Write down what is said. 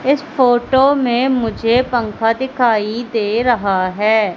इस फोटो में मुझे पंखा दिखाई दे रहा है।